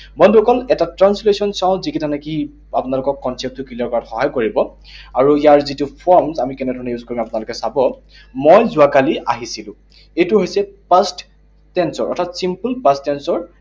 বন্ধুসকল, এটা translation চাওঁ, যিকেইটা নেকি আপোনালোকৰ concept টো clear কৰাত সহায় কৰিব। আৰু ইয়াৰ যিটো form, আমি কেনেধৰণেৰে use কৰোঁ আপোনালোকে চাব। মই যোৱাকালি আহিছিলো। এইটো হৈছে past tense ৰ অৰ্থাৎ simple past tense ৰ